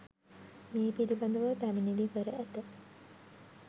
මේ පිළිබඳව පැමිණිලි කර ඇත